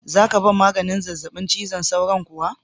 Za ka ban maganin zazzabi cizon sauron kuwa?